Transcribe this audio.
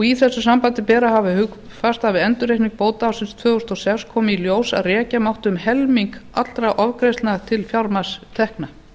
í þessu sambandi ber að hafa hugfast að við endurreikning bóta ársins tvö þúsund og sex kom í ljós að rekja mátti um helming allra ofgreiðslna til fjármagnstekna